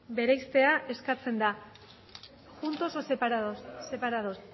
bereiztea eskatzen da juntos o separados separados